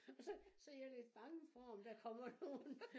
Og så så jeg lidt bange for om der komemr nogen